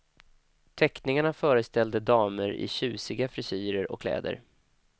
Teckningarna föreställde damer i tjusiga frisyrer och kläder.